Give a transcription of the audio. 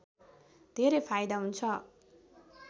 धेरै फाइदा हुन्छ